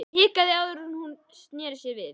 Hún hikaði áður en hún sneri sér við.